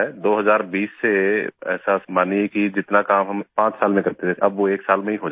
2020 से ऐसा मानिये कि जितना काम हम पांच साल में करते थे अब वो एक साल में हो जाता है